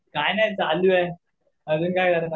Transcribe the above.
काय नाही चालू आहे अजून काय करणार.